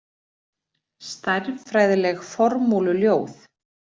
Stærðfræðileg formúluljóð.